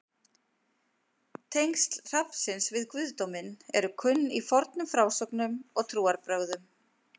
tengsl hrafnsins við guðdóminn eru kunn í fornum frásögnum og trúarbrögðum